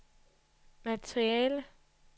materiale